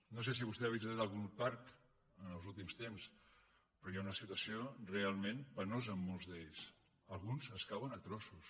no sé si vostè ha visitat algun parc els últims temps però hi ha una situació realment penosa en molts d’ells alguns cauen a trossos